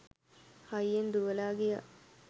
හයියෙන් දුවලා ගියා.